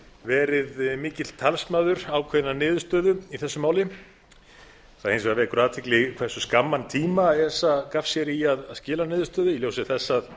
verið mikill talsmaður ákveðinnar niðurstöðu í þessu máli það vekur hins vegar athygli hversu skamman tíma esa gaf sér í að skila niðurstöðu í ljósi þess að